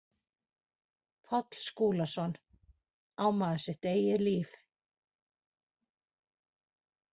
Páll Skúlason, Á maður sitt eigið líf?